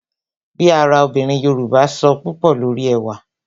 Bí ara obìnrin Yoruba sọ púpò lórí ẹwà